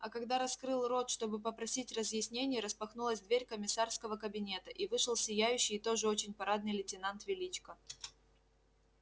а когда раскрыл рот чтобы попросить разъяснений распахнулась дверь комиссарского кабинета и вышел сияющий и тоже очень парадный лейтенант величко